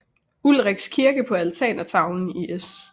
Ulrichs kirke på altertavlen i S